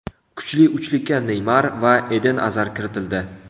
Kuchli uchlikka Neymar va Eden Azar kiritildi.